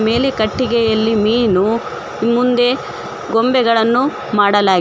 ಮೇಲೆ ಕಟ್ಟಿಗೆಯಲ್ಲಿ ಮೀನು ಮುಂದೆ ಗೊಂಬೆಗಳನ್ನು ಮಾಡಲಾಗಿ--